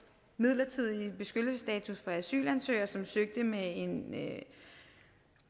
midlertidige beskyttelsesstatus for asylansøgere som søgte med en